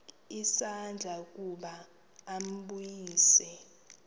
isandla ukuba ambulise